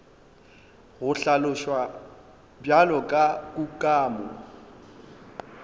go hlaloswa bjalo ka kukamo